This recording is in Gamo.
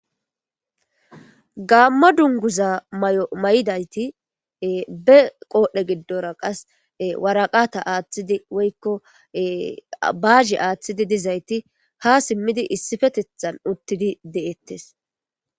gaammo dunguza may7o may7idayti be qoodhe giddora qas waraqata aaththidi woykko baaze aaththidi dizayti ha simmidi issifetethan uttidi de7ettes